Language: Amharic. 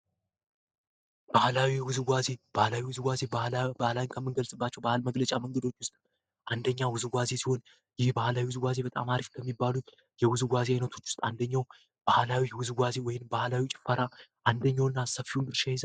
ባህላዊ ባህላዊ ባህላዊ ባህል መግለጫ መንገዶች አንደኛ ውዝዋዜውን ይባላሉ በጣም በሚባሉት የውዝዋዜ አይነቶች አንደኛው ባህላዊ ወይም ባህላዊ ጭፈራ አንደኛውና ሰፊውን ይይዛል